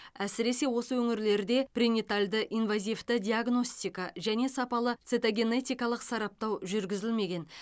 әсіресе осы өңірлерде пренатальды инвазивті диагностика және сапалы цитогенетикалық сараптау жүргізілмеген